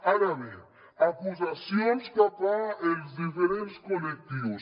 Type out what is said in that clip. ara bé acusacions cap als diferents col·lectius